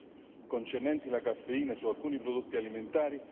non sia assolutamente in linea con gli obiettivi del regolamento.